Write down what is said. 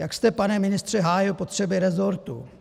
Jak jste, pane ministře, hájil potřeby rezortu?